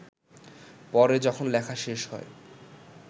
পরে যখন লেখা শেষ হয়